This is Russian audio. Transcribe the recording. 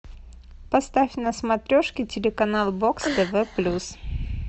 поставь на смотрешке телеканал бокс тв плюс